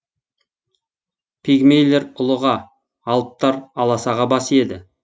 пигмейлер ұлыға алыптар аласаға бас иеді